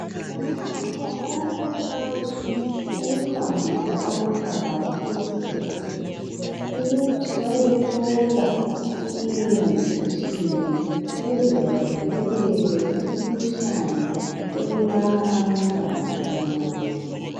omama bayakhuthazwa ukuhambisa abantwababo ezibhedlela ukuthi bayethola i immunization ukuze bavikeleke kumikhuhlane ebulala abantwana abancane